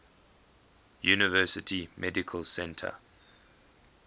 university medical center